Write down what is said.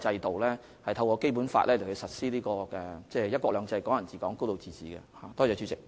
我們透過《基本法》實施"一國兩制"、"港人自港"、"高度自治"。